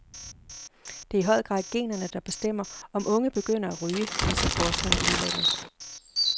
Det er i høj grad generne, der bestemmer om unge begynder at ryge, viser forskning i udlandet.